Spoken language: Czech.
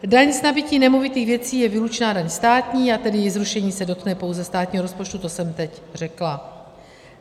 Daň z nabytí nemovitých věcí je výlučná daň státní, a tedy její zrušení se dotkne pouze státního rozpočtu, to jsem teď řekla.